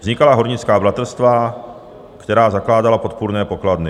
Vznikala hornická bratrstva, která zakládala podpůrné pokladny.